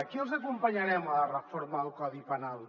aquí els acompanyarem a la reforma del codi penal